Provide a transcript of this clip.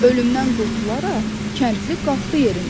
Ölümdən qurtularaq kəndli qalxdı yerindən.